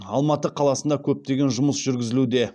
алматы қаласында көптеген жұмыс жүргізілуде